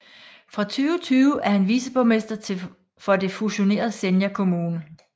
Fra 2020 er han viceborgmester for det fusionerede Senja kommune